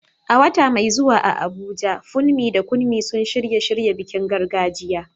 A wata mai zuwa a Abuja, Funmi da Kunmi sun shirya shirya bikin gargajiya.